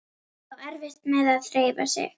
Á erfitt með að hreyfa sig.